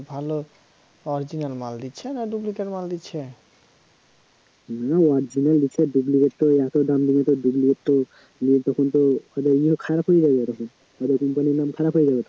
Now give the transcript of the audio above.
original দিছে duplicate তো এত দাম দিয়ে তো duplicate তো তখন তো খারাপ হয়ে যাবে এরকম খারাপ হয়ে যাবে তো